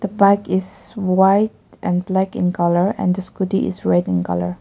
the bike is white and black in colour and the scooty is red in colour.